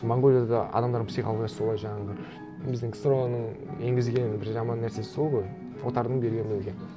монғолияда да адамдардың психологиясы солай жаңағы біздің ксро ның енгізген бір жаман нәрсесі сол ғой отардың берген елге